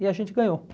E a gente ganhou.